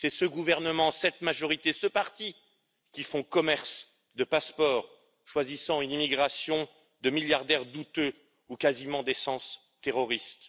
C'est ce gouvernement, cette majorité, ce parti qui font commerce de passeports, choisissant une immigration de milliardaires douteux ou quasiment d'essence terroriste.